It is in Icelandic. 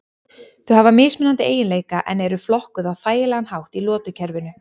Þau hafa mismunandi eiginleika en eru flokkuð á þægilegan hátt í lotukerfinu.